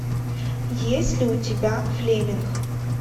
есть ли у тебя флеминг